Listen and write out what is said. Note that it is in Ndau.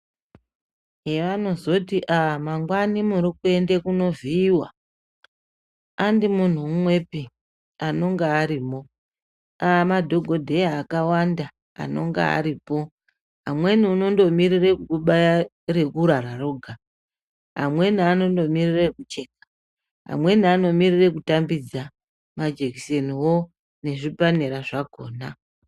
Heanozoti ah mangwani muri kuende kunovhiyiwa, handi munhu umwepi anonga arimo, amadhokodheya akawanda anonga aripo. Amweni unondomirire kukubaya rekurara roga, amweni anondomirire ekucheka, amweni anomirire kutambidza majekiseniwo nezvipanera zvakona.